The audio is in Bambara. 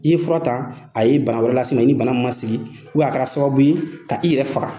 I ye fura ta a ye bana wɛrɛ las'i ma, i ni bana min ma sigi a kɛra sababu ye ka i yɛrɛ faga!